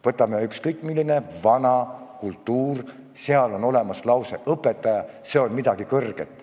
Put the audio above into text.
Võtame ükskõik millise vana kultuuri, igal pool on olemas lause "Õpetaja – see on midagi kõrget".